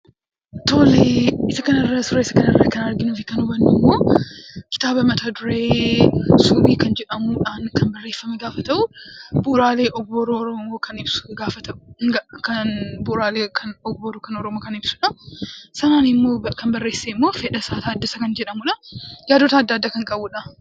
Tole suura kana irraa kan arginuu fi hubannu immoo kitaaba mata duree subii jedhamuun kan barreeffame gaafa ta'u bu'uuraalee ogbarruu Oromoo kan ibsudha. Kan barreesse immoo Fedhasaa Taaddasaa kan jedhamudha. Yaadota garagaraa kan of keessaa qabudha.